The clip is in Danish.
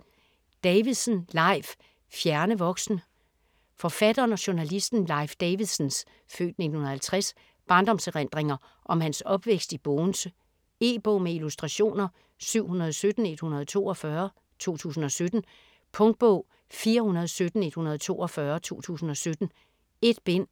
Davidsen, Leif: Fjerne voksne Forfatteren og journalisten Leif Davidsens (f. 1950) barndomserindringer om hans opvækst i Bogense. E-bog med illustrationer 717142 2017. Punktbog 417142 2017. 1 bind.